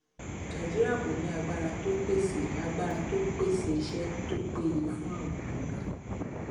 nàìjíríà kò ní agbára tó pèsè agbára tó pèsè iṣẹ tó péye fún àwọn ènìyàn rẹ